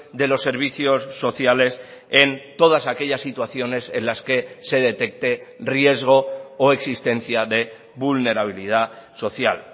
de los servicios sociales en todas aquellas situaciones en las que se detecte riesgo o existencia de vulnerabilidad social